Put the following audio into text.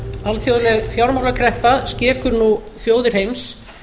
alþjóðleg fjármálakreppa skekur nú þjóðir heims